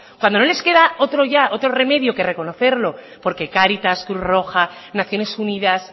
cuando no les queda ya otro remedio que reconocerlo porque cáritas cruz roja naciones unidas